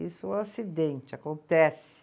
Isso foi um acidente, acontece.